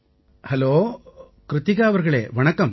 hello Krithika அவர்களே வணக்கம்